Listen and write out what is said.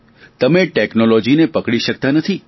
તમે ટેકનોલોજીને પકડી શકતા નથી